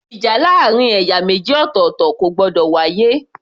Ìjà láàrin ẹ̀yà méjì ọ̀tọ̀ọ̀tọ̀ kò gbọdọ̀ wá yé